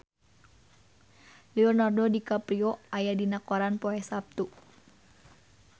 Leonardo DiCaprio aya dina koran poe Saptu